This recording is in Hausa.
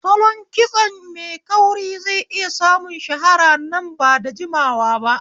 Salon kitso mai kauri zai iya samun shahara nan ba da jimawa ba.